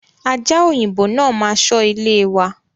Aja òyìnbó náà ma ṣọ ilé wa